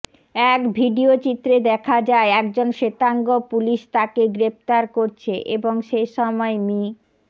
এক ভিডিও চিত্রে দেখা যায় একজন শ্বেতাঙ্গ পুলিশ তাকে গ্রেপ্তার করছে এবং সেসময় মি